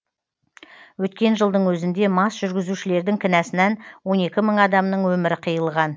өткен жылдың өзінде мас жүргізушілердің кінәсінен он екі мың адамның өмірі қиылған